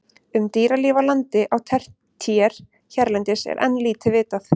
Um dýralíf á landi á tertíer hérlendis er enn lítið vitað.